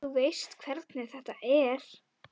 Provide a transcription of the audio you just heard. Þú veist hvernig þetta er.